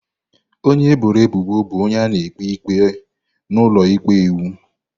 Onye eboro ebubo bụ onye a na-ekpe ikpe n’ụlọ ikpe iwu.